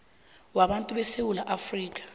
wabantu besewula afrika